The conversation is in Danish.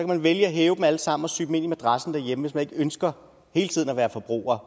man vælge at hæve dem alle sammen og sy dem ind i madrassen derhjemme hvis man ikke ønsker hele tiden at være forbruger